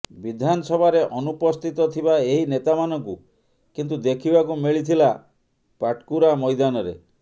ବିଧାନସଭାରେ ଅନୁପସ୍ଥିତ ଥିବା ଏହି ନେତାମାନଙ୍କୁ କିନ୍ତୁ ଦେଖିବାକୁ ମିଳିଥିଲା ପାଟକୁରା ମୈଦାନରେ